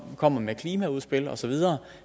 kom med klimaudspil osv